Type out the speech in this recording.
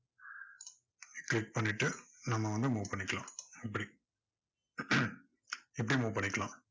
இப்படியும் move பண்ணிக்கலாம்